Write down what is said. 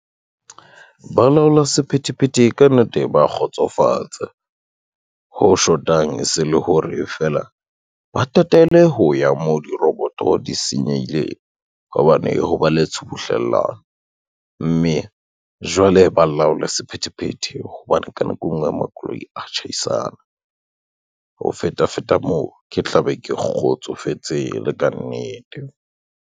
Balaola sephethephethe ka nnete ba kgotsofatsa, ho shotang e se le hore fela, ba tatele ho ya moo diroboto di senyehileng, ka hobane ho ba letshubuhlelano. Mme jwale ba laole sephethephethe, hobane ka nako e ngwe makoloi a tjhaisana, ho feta feta moo, ke tla be ke kgotsofetse le ka nnete.